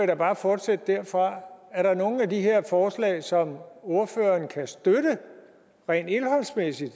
da bare fortsætte derfra er der nogle af de her forslag som ordføreren kan støtte rent indholdsmæssigt